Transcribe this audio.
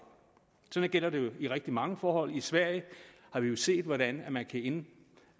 sådan gælder det jo i rigtig mange forhold i sverige har vi jo set hvordan man kan